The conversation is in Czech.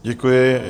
Děkuji.